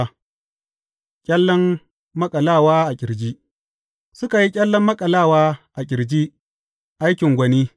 Ƙyallen maƙalawa a ƙirji Suka yi ƙyallen maƙalawa a ƙirji, aikin gwani.